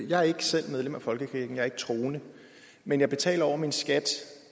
jeg er ikke selv medlem af folkekirken jeg er ikke troende men jeg betaler over min skat til